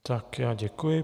Tak já děkuji.